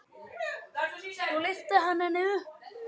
Og svo lyfti hann henni upp.